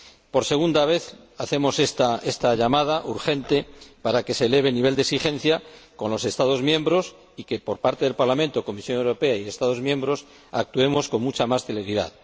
Por segunda vez hacemos esta llamada urgente para que se eleve el nivel de exigencia con los Estados miembros y que, por parte del Parlamento, la Comisión Europea y los Estados miembros, actuemos con mucha más celeridad.